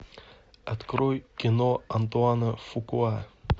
открой кино антуана фукуа